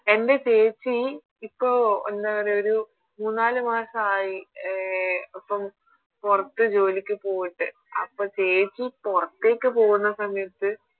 എൻറെ ചേച്ചി ഇപ്പൊ എന്താ പറയാ ഒരു മൂന്നാല് മാസായി അഹ് പൊറത്ത് ജോലിക്ക് പോയിട്ട് അപ്പൊ ചേച്ചി പൊറത്തേക്ക് പോകുന്ന സമയത്ത്